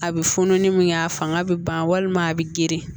A bɛ funun ni min kɛ a fanga bɛ ban walima a bɛ geren